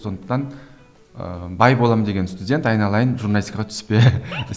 сондықтан ыыы бай боламын деген студент айналайын журналистикаға түспе